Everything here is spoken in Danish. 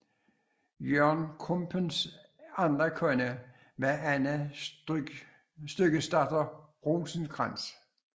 Jørgen Krumpens anden kone var Anne Styggesdatter Rosenkrantz